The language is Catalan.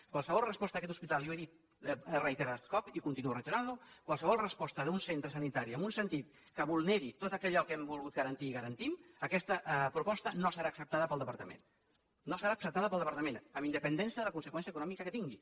qualsevol resposta d’aquest hospital i ho he dit reiterats cops i continuo reiterant ho qualsevol resposta d’un centre sanitari en un sentit que vulneri tot allò que hem volgut garantir i garantim aquesta proposta no serà acceptada pel departament no serà acceptada pel departament amb independència de la conseqüència econòmica que tingui